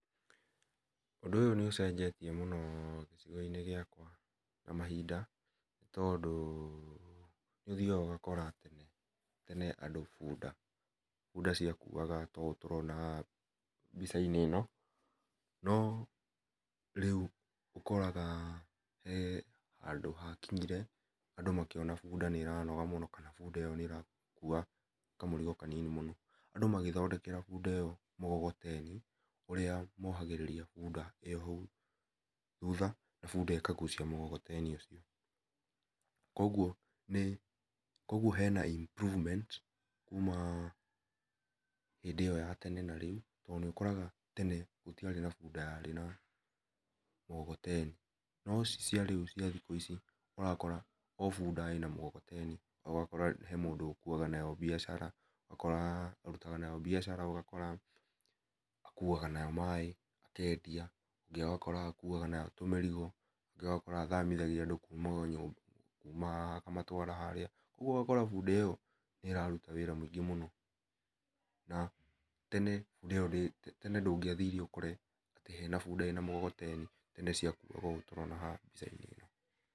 Ũndũ ũyũ nĩ ũcenjetie mũno gĩcigo-inĩ gĩakwa na mahinda tondũ nĩ ũthiaga ũgakora tene andũ bunda, bunda ciakuaga ta ũũ tũrona haha mbica-inĩ ĩno, no rĩu ũkoraga handũ hakinyire andũ makĩona bunda nĩ ĩranoga mũno kana bunda ĩyo nĩ ĩrakua kamũrigo kanini mũno, andũ magĩthondekera bunda ĩyo mũgogoteni ũrĩa mohagĩrĩria bunda ĩyo hau thutha na bunda ĩkagucia mũgogoteni ũcio. Kwoguo hena improvemnt kuuma hĩndĩ ĩyo ya tene na rĩu, tondũ nĩ ũkoraga tene gũtiarĩ na bunda yarĩ na mũgogoteni, no ici cia rĩu cia thikũ ici ũrakora o bunda ĩna mũgogoteni, ũgakora he mũndũ ũkuaga nayo mbiacara, ũgakoraga arutaga nayo mbiacara, ũgakora akuaga nayo maaĩ akendia, ũngĩ ũgakora akuaga nayo tũmĩrigo, ũngĩ ugakora athamithagia andũ kuuma nyũmba, kuuma haha akamatwara harĩa. Rĩu ũgakora bunda ĩyo nĩ ĩraruta wĩra mũingĩ mũno. Na tene bunda ĩyo tene ndũngĩathire ũkore hena bunda ĩna mũgogoteni ĩndĩ cĩakuaga ũũ tũrona haha.